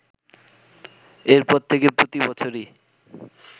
এরপর থেকে প্রতি বছরই